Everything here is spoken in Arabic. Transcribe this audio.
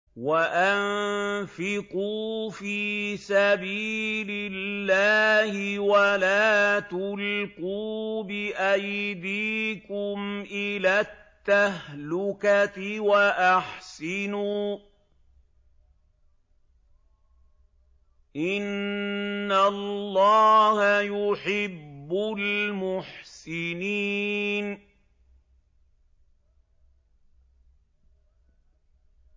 وَأَنفِقُوا فِي سَبِيلِ اللَّهِ وَلَا تُلْقُوا بِأَيْدِيكُمْ إِلَى التَّهْلُكَةِ ۛ وَأَحْسِنُوا ۛ إِنَّ اللَّهَ يُحِبُّ الْمُحْسِنِينَ